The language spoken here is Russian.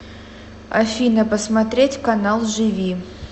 афина посмотреть канал живи